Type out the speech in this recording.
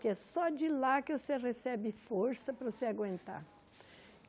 Que é só de lá que você recebe força para você aguentar.